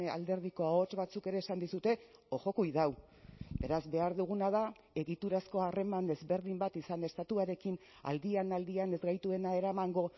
alderdiko ahots batzuk ere esan dizute ojo cuidado beraz behar duguna da egiturazko harreman desberdin bat izan estatuarekin aldian aldian ez gaituena eramango